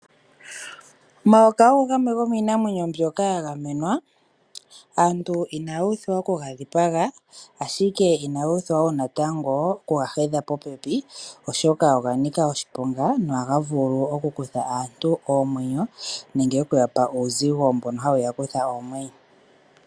Omayoka ogo gamwe gomiinamwenyo mbyoka yagamenqa aantu inaa uthwa okuga dhipaga ashike inaga pumbwa woo okuga hedha popepi, oshoka oga nika oshiponga nohaga vulu oku kutha aantu omwenyo nenge okuya pa uuzigo mbono haya vulu okuya kutha oomwenyo.